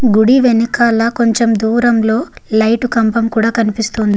గుడి వెనకాల కొంచెం దూరంలో లైట్ కంభం కూడా కనిపిస్తోంది.